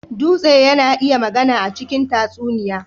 Dutse yana iya magana a cikin tatsuniya.